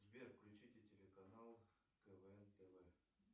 сбер включите телеканал квн тв